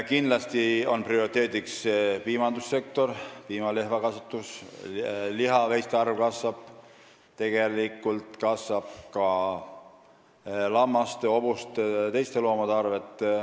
Kindlasti on prioriteediks piimandussektor, piimalehmakasvatus, aga kasvab ka lihaveiste arv, samuti lammaste, hobuste jt loomade arv.